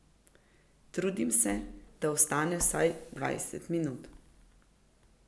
Trudim se, da ostane vsaj dvajset minut.